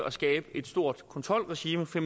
at skabe et stort kontrolregime for